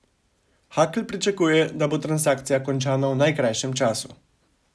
Hakl pričakuje, da bo transakcija končana v najkrajšem času.